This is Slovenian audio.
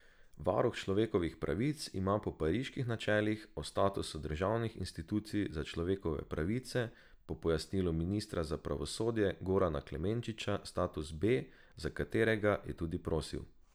Varuh človekovih pravic ima po Pariških načelih o statusu državnih institucij za človekove pravice po pojasnilu ministra za pravosodje Gorana Klemenčiča status B, za katerega je tudi zaprosil.